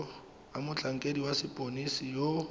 a motlhankedi wa sepodisi yo